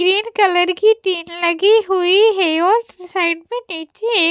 green colour की tin लगी हुई है और तस साइड में --